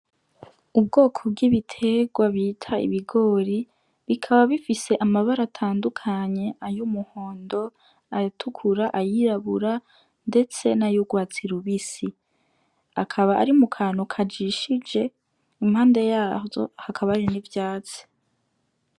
Ubwoko bw'ibiterwa bita ibigori bikaba bifise amabara atandukanye, ay'umuhondo, ayatukura, ayirabura ndetse n'ayurwatsi rubisi. Bikaba biri mu kantu kajishije, impande y'avyo hakaba hari n'ivyatsi.